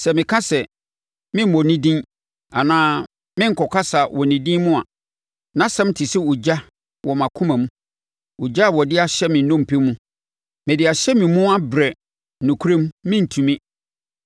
Sɛ meka sɛ, “Meremmɔ ne din anaa merenkasa wɔ ne din mu” a, nʼasɛm te sɛ ogya wɔ mʼakoma mu, ogya a wɔde ahyɛ me nnompe mu. Mede ahyɛ me mu abrɛ nokorɛm, merentumi.